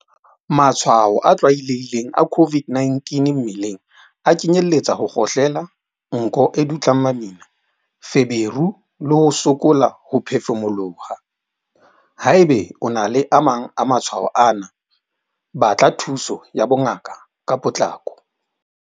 Matshwao a tlwaelehileng a COVID-19 mmeleng a kenyeletsa ho kgohlela, nko e dutlang mamina, feberu le ho sokola ho phefumoloha. Haeba o na le a mang a matshwao ana, batla thuso ya bongaka ka potlako.